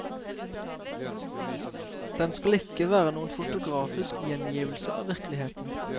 Den skal ikke være noen fotografisk gjengivelse av virkeligheten.